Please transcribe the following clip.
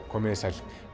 komiði sæl